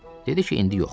Dedi ki, indi yox.